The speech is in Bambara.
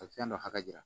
A bɛ fɛn dɔ hakɛ jira